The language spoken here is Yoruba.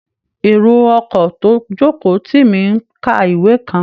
Èrò ọkọ̀ tó jókòó tì mí ń ka ìwé kan